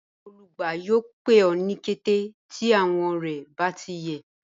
Olùgbà yọọ̀ pẹ̀ ọ ni kẹtẹ̀ ti awọn rẹ̀ bá ti yẹ